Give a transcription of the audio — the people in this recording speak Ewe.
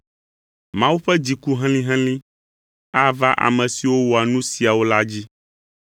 Mawu ƒe dziku helĩhelĩ ava ame siwo wɔa nu siawo la dzi.